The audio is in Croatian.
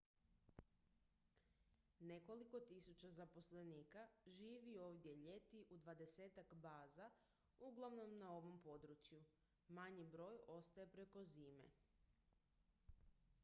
nekoliko tisuća zaposlenika živi ovdje ljeti u dvadesetak baza uglavnom na ovom području manji broj ostaje preko zime